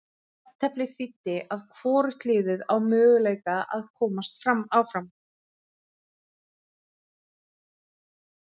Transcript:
Jafnteflið þýddi að hvorugt liðið á möguleika að komast áfram.